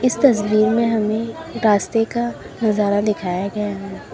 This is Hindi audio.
इस तस्वीर में हमें गास्ते का नजारा दिखाया गया है।